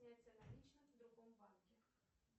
снятие наличных в другом банке